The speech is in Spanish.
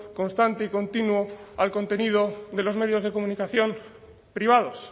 constante y continuo al contenido de los medios de comunicación privados